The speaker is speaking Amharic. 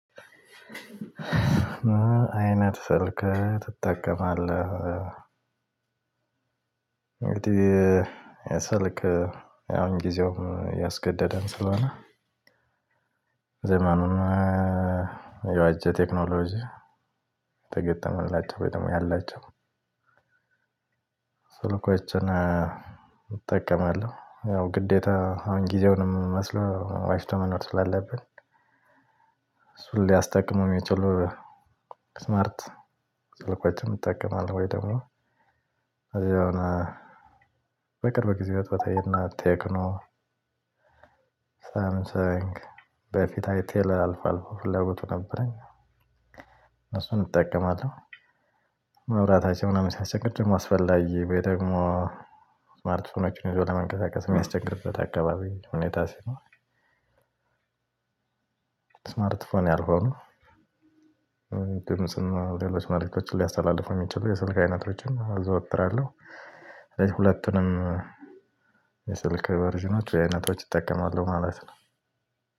ምን አይነት ስልክ ትጠቀማለህ? እንግዲህ ስልክ አሁን ጊዜውን ያስገደደን ስለሆነ ዘመኑን የዋጀ ቴክኖሎጂ የተገጠመላቸው ወይ ደግሞ ያላቸው ስልኮችን እጠቀማለሁ። ያው ግዴታ አሁን ጊዜውንም መስሎ ዋጅቶ መኖር ስላለብን እሱን ሊያስጠቅመው የሚችሉ ስማርት ስልኮችን እጠቀማለሁ። ወይ ደግሞ ከዛ የሆነ በቅርብ ጊዜያት በተየናት ቴክኖ ሳምሰንግ በፊት አይቴል አልፎ አልፎ ፍላጎቱ ነበረኝ እሱን እጠቀማለሁ። መብራት ሲያሰቸግር አስፈላጊ ወይ ደግሞ ስማርት ስልኮችን ይዞ ለመንቀሳቀስ የሚያስቸግርበት አካባቢ ሁኔታ ሲሆን ስማርት ፎን ያልሆኑ ድምጽና ሌሎች መልእክቶችን ሊያስተላልፍ የሚችሉ የስልክ አይነቶችን አዘውትራለሁ። ሁለቱንም የስልክ ቨርዥኖች የአይነቶች እጠቀማለሁ ማለት ነው።